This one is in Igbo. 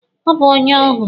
Ọ bụ onye óhù?